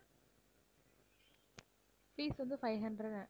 fees வந்து five hundred.